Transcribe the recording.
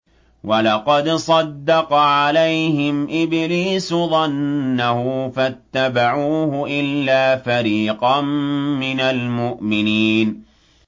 وَلَقَدْ صَدَّقَ عَلَيْهِمْ إِبْلِيسُ ظَنَّهُ فَاتَّبَعُوهُ إِلَّا فَرِيقًا مِّنَ الْمُؤْمِنِينَ